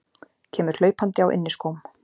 Kemur hlaupandi á inniskóm.